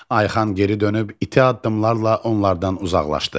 Ayxan geri dönüb iti addımlarla onlardan uzaqlaşdı.